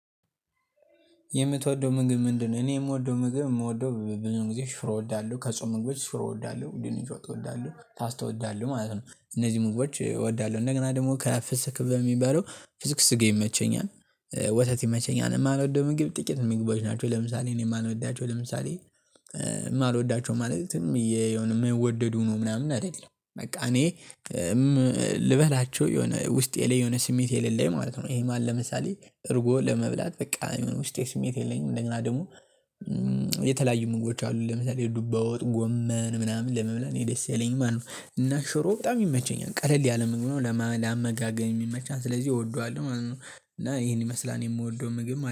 የምትወደው ምግብ ምንድነው? እኔ የምወደው ምግብ ምወደው ብዙውን ጊዜ ሽሮ እወዳለሁ ከጾም ምግቦች ሽሮ እወዳለሁ ድንች ወጥ እወዳለሁ ፓስታ እወዳለሁ ማለት ነው። እነዚህ ምግቦች እወዳለሁ እንደገና ደግሞ ከፍስክ በሚባለው ፍስክ ስጋ ይመቸኛል። ወተት ይመቸኛል እማልወደው ምግብ ጥቂት ምግቦች ናቸው። ለምሳሌ እኔ ማልወዳቸው ለምሳሌ እማልወዳቸው ማለትም ዝምየ የሆነ ማይወደዱ ሁነው ምናምን አይደለም በቃ እኔ እም ልበላቸው የሆነ ውስጤ ላይ የሆነ ስሜት የሌለኝ ማለት ነው። ይሄ ማለት ለምሳሌ እርጎ ለመብላት በቃ ውስጤ ስሜት የለኝም። እና ደግሞ የተለያዩ ምግቦች አሉ ለምሳሌ የዱባ ወጥ ጎመን ምናምን ለመብላት እኔ ደስ አይለኝም ማለት ነው። እና ሽሮ በጣም ይመቸኛል ቀለል ያለ ምግብ ነው ለማ ላመጋገብም ይመቻል ስለዚህ እወደዋለሁ ማለት ነው። እና ይሄን ይመስላል የምወደው ምግብ ማለት ነው